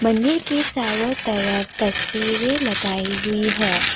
ने के चारों तरफ तस्वीरे लगाई हुई है।